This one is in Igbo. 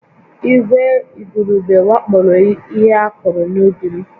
Ìgwè igurube wakporo ihe a kụrụ n'ubi m